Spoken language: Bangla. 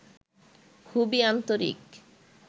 খুবই আন্তরিক